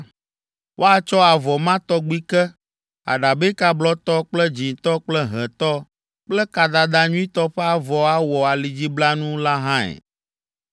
Woatsɔ avɔ ma tɔgbi ke, aɖabɛka blɔtɔ kple dzĩtɔ kple hẽtɔ kple kadada nyuitɔ ƒe avɔ awɔ alidziblanu la hãe.